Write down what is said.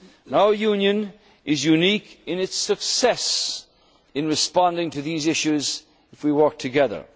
lives. Our Union is unique in its success in responding to these issues if we